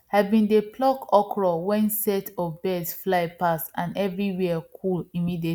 i bin dey pluck okro wen set of birds fly pass and everywhere cool immediately